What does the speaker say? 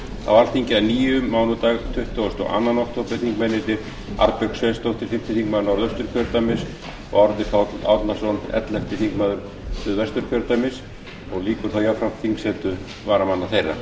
á alþingi að nýju mánudag tuttugasta og önnur október þingmennirnir arnbjörg sveinsdóttir fimmti þingmaður norðausturkjördæmis og árni páll árnason ellefti þingmaður suðvesturkjördæmis og lýkur þá jafnframt þingsetu varamanna þeirra